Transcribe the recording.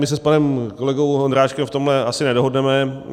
My se s panem kolegou Ondráčkem v tomhle asi nedohodneme.